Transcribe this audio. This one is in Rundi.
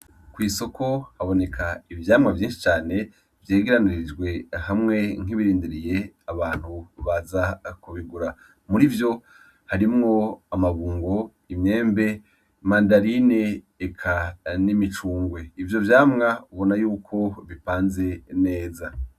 Kwisoko haboneka ivyamwa vyinshi cane, vyegeranirijwe hamwe nk'ibirindiriye abantu baza kubigura murivyo harimwo amabungo imyembe mandarine eka n'imicungwe ivyo vyamwa ubona yuko bipanze neza.